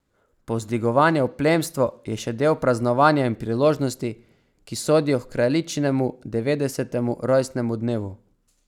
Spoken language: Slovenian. Povzdigovanje v plemstvo je še del praznovanja in priložnosti, ki sodijo h kraljičinemu devetdesetemu rojstnemu dnevu.